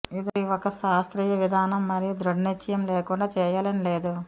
ఇది ఒక శాస్త్రీయ విధానం మరియు దృఢ నిశ్చయం లేకుండా చేయాలని లేదు